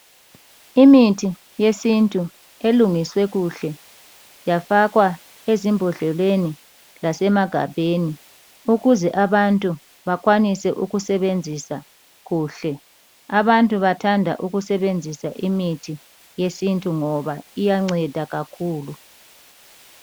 Imithi yesintu elungiswe kuhle yafakwa ezimbodleleni lasemagabheni ukuze abantu bakwanise ukusebenzisa kuhle. Abantu bathanda ukusebenzisa imithi yesintu ngoba iyanceda kakhulu.